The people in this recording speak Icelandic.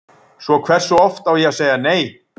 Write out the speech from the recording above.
Svo hversu oft á ég að segja nei?